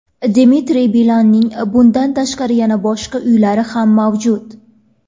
Dmitriy Bilanning bundan tashqari yana boshqa uylari ham mavjud.